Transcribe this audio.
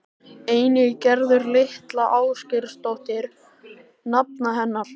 Einnig Gerður litla Ásgeirsdóttir nafna hennar.